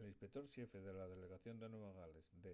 l’inspector xefe de la delegación de nueva gales de